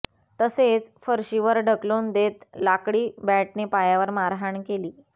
तसेच फरशीवर ढकलून देत लाकडी बॅटने पायावर मारहाण केली